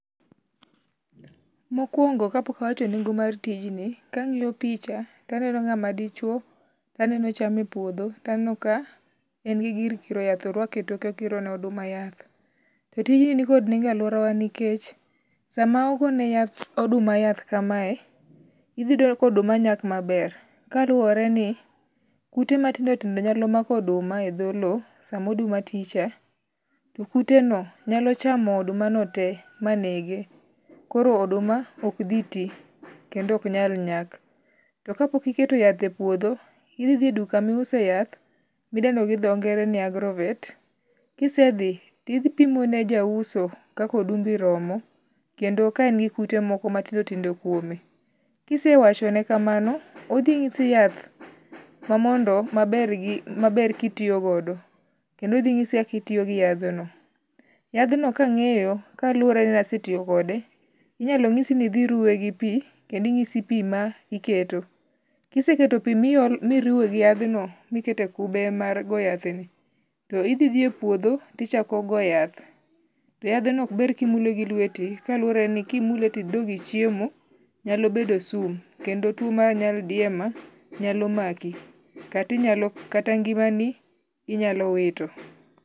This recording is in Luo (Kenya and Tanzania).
Mokwongo kapok awacho nengo mar tijni ka ang'iyo picha to aneno ng'ama dichuo. To aneno cham e puodho. To aneno ka en gi gir kiro yath orwako e toke okiro ne oduma yath. To tijni ni kod nengo e aluora wa nikech sama ogone yath oduma yath kamae idhi yudo ka oduma nyak maber kaluwore ni kute matindo tindo nyalo mako oduma e dho low sama oduma ti cha. To kute no nyalo chamo oduma no te manege. Koro oduma ok dhi ti kendo ok nyal nyak. To ka pok iketo yath e puodho i dhi e duka miuse yath midendo gi dho ngere ni agrovet. Kise dhi tidhipimo ne ja ujso kaka odumbi romo kendo ka en gi kute moko matindo tindo kuome. Kisewachone kamano odhi nyisi yath ma mondo maber kitiyogodo kendo odhi nyisi kaka itiyo gi yadh no. Yadhno kang'eyo kaluwore ni nasetiyokode inyalo nyisi ni idhi ruwe gi pi kendo inyisi pi ma iketo. Kiseketo pi miruwe gi yadh no miketo e kube mar go yath ni to i idhi epuodho to ichako go yath. To yadh no ok ber kimule gi luote kalure ni kimule tiduogo ichiemo nyalo bedo sum kendo tuo mar nyaldiema nyalo maki. Kata ngimani inyalowito.